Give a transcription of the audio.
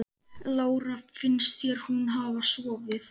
Lára: Finnst þér hún hafa sofið?